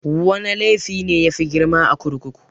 Wana laifi ne yafi grima a kurkuku?